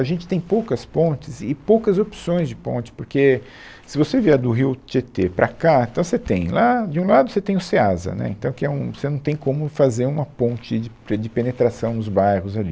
A gente tem poucas pontes e poucas opções de ponte, porque se você vier do rio Tietê para cá, então você tem lá, de um lado você tem o Ceasa, né, então aqui é um, você não tem como fazer uma ponte de pe de penetração nos bairros ali.